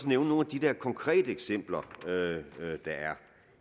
nævne nogle af de der konkrete eksempler der er